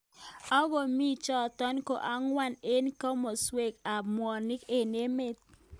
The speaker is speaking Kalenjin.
Ako mi chotok ko angwan eng kimostunwek ab mwanik emg emet.